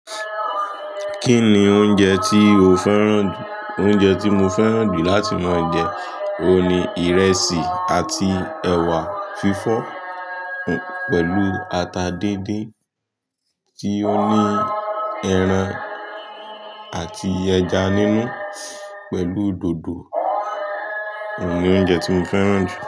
Kí ni oúnjẹ tí o fẹ́ràn jù? Oúnjẹ tí mo fẹ́ràn jù láti máa jẹ, òun ni ìrẹsì àti ẹ̀wà fífọ́ pẹ̀lú ata díndín tí ó ní ẹran àti ẹja nínú pẹ̀lú dòdò. Òun ni oúnjẹ tí mo fẹ́ràn jù.